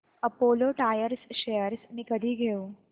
Apollo Tyres shares मी कधी घेऊ